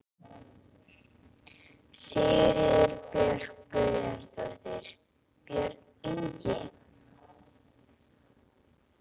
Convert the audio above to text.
Sigríður Björk Guðjónsdóttir: Björn Ingi?